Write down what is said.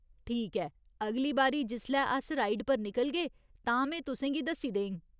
ठीक ऐ, अगली बारी जिसलै अस राइड पर निकलगे, तां में तुसें गी दस्सी देङ।